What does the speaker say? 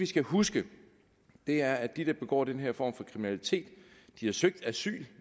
skal huske er at de der begår den her form for kriminalitet har søgt asyl